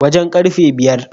Wajen karfe biyar